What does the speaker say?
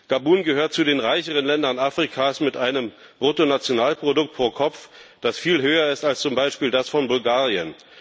Gabun gehört zu den reicheren Ländern Afrikas mit einem Bruttonationalprodukt pro Kopf, das viel höher ist als zum Beispiel das von Bulgarien.